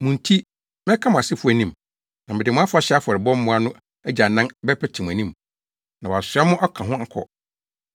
Mo nti mɛka mo asefo anim, na mede mo afahyɛ afɔrebɔ mmoa no agyanan bɛpete mo anim, na wɔasoa mo aka ho akɔ.